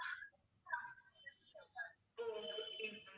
O okay ma'am